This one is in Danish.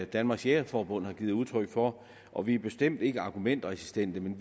danmarks jægerforbund har givet udtryk for og vi er bestemt ikke argumentresistente men